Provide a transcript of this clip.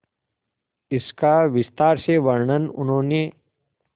इसका विस्तार से वर्णन उन्होंने